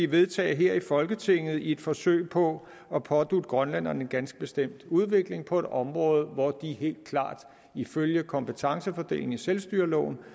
vedtage her i folketinget i et forsøg på at pådutte grønlænderne en ganske bestemt udvikling på et område hvor de ifølge kompetencefordelingen i selvstyreloven